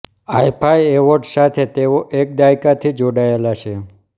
IIFA awards સાથે તેઓ એક દાયકાથી જોડાયેલા છે